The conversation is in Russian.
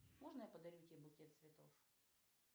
можно я подарю тебе букет цветов